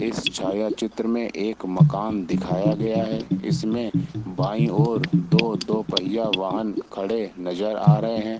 इस छायाचित्र में एक मकान दिखाया गया है इसमें बाई ओर दो दो पहिया वाहन खड़े नजर आ रहा है।